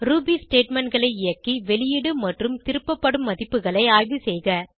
Ruby statementகளை இயக்கி வெளியீடு மற்றும் திருப்பப்படும் மதிப்புகளை ஆய்வுசெய்க